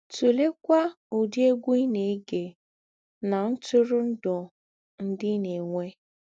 Tùlèkwà ǔdị̀ ègwú̄ ì na - ègé nà ntùrụ̀ndụ̀ ńdị ì na - ènwé.